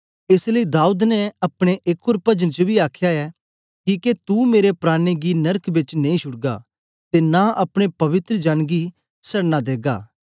एस लेई दाऊद ने अपने एक ओर पजन च बी आखया ऐ किके तू मेरे प्राणें गी नरक बेच नेई छुड़गा ते नां अपने पवित्र जन गी सड़ना देगा